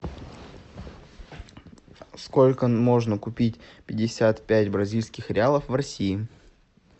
сколько можно купить пятьдесят пять бразильских реалов в россии